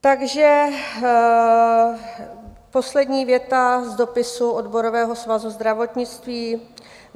Takže poslední věta z dopisu Odborového svazu zdravotnictví.